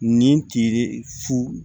Nin cili fu